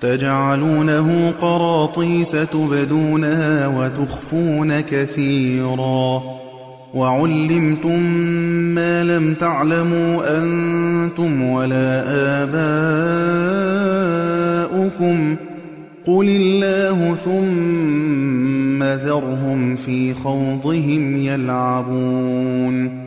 تَجْعَلُونَهُ قَرَاطِيسَ تُبْدُونَهَا وَتُخْفُونَ كَثِيرًا ۖ وَعُلِّمْتُم مَّا لَمْ تَعْلَمُوا أَنتُمْ وَلَا آبَاؤُكُمْ ۖ قُلِ اللَّهُ ۖ ثُمَّ ذَرْهُمْ فِي خَوْضِهِمْ يَلْعَبُونَ